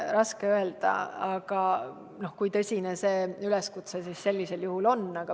On raske öelda, kui tõsine see üleskutse sellisel juhul on.